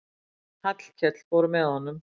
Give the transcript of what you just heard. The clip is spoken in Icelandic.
Hallkell fór með honum.